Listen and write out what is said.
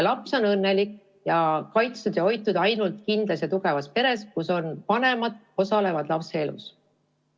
Laps on õnnelik, kaitstud ja hoitud ainult kindlas ja tugevas peres, kus vanemad osalevad lapse elus.